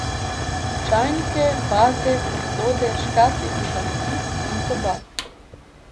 Čajnike, vaze, posode, škatlice za nakit in tobak.